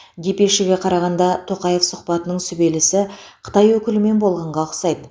депешеге қарағанда тоқаев сұхбатының сүбелісі қытай өкілімен болғанға ұқсайды